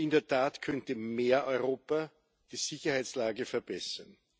Und in der Tat könnte mehr Europa die Sicherheitslage verbessern.